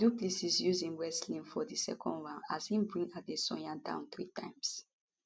du plessis use im wrestling for di second round as e bring adesanya down three times